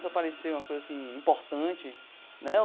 Para parecer uma coisa, assim, importante, né?